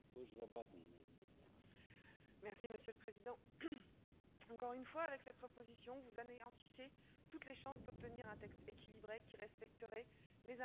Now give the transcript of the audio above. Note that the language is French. Monsieur le Président, encore une fois avec cette proposition, vous anéantissez toutes les chances d'obtenir un texte équilibré qui respecterait les intérêts des États membres et leur indépendance.